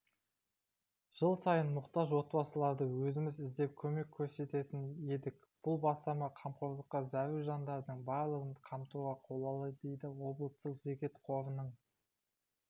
жыл сайын мұқтаж отбасыларды өзіміз іздеп көмек көрсететін едік бұл бастама қамқорлыққа зәру жандардың барлығын қамтуға қолайлы дейді облыстық зекет қорының